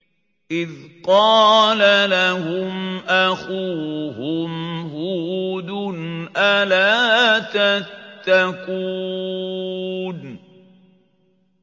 إِذْ قَالَ لَهُمْ أَخُوهُمْ هُودٌ أَلَا تَتَّقُونَ